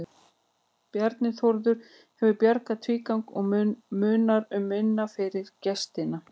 Bjarni Þórður hefur bjargað í tvígang og munar um minna fyrir gestina.